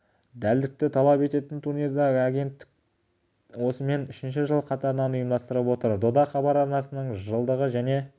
дәлдікті талап ететін турнирді агенттіктік осымен үшінші жыл қатарынан ұйымдастырып отыр дода хабар арнасының жылдығы және